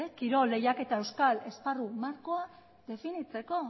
kirol lehiaketa euskal esparru markoa definitzeko